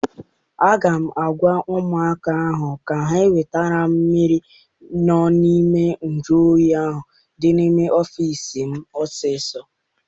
Aga m agwa ụmụaka ahụ ka ha wetara m mmiri n'ime nju oyi ahụ dị n'ime ọfịịsi m ọsọ!